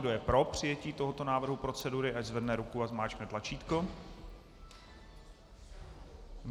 Kdo je pro přijetí tohoto návrhu procedury, ať zvedne ruku a zmáčkne tlačítko.